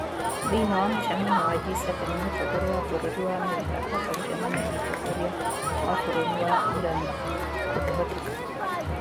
Thĩiniĩ wa mũcemanio wa G7, mũtongoria wa bũrũri wa Amerika ahota gũcemania na mũtongoria wa bũrũri wa Irani kũngĩhoteka.